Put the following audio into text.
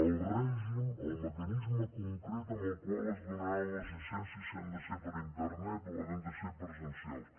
el règim el mecanisme concret amb el qual es donaran les llicències si han de ser per internet o hauran de ser presencials